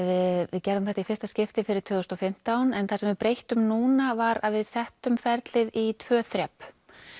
við gerðum þetta í fyrsta skipti fyrir tvö þúsund og fimmtán en það sem við breyttum núna var að við settum ferlið í tvö þrep